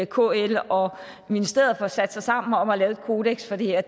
kl og ministeriet får sat sig sammen om at lave et kodeks for det her